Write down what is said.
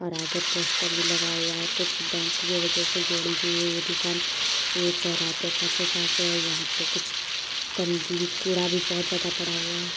और आगे पोस्टर भी लगा हुआ है कुछ बैंक की वजह से जोड़ी गई है ये दुकान ये चौराहे पे और यहाँ पे कुछ कूड़ा भी बहोत ज्यादा पड़ा हुआ है।